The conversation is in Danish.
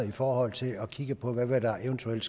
i forhold til at kigge på hvad der eventuelt